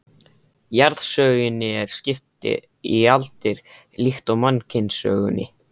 Jarðsögunni er skipt í aldir líkt og mannkynssögunni.